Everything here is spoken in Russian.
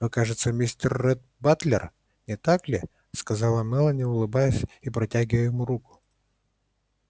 вы кажется мистер ретт батлер не так ли сказала мелани улыбаясь и протягивая ему руку